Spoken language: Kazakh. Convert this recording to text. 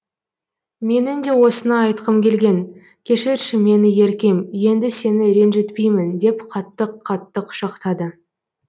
менің де осыны айтқым келген кешірші мені еркем енді сені ренжітпеймін деп қатты қатты құшақтады